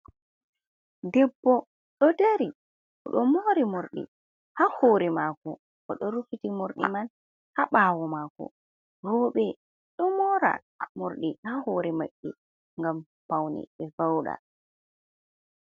Debbo ɗo dari. Oɗo moori morɗi haa hoore maako, oɗo rufiti morɗi man haa ɓaawo maako. Rooɓe ɗo mora morɗi haa hoore maɓɓe ngam paune ɓe vauɗa.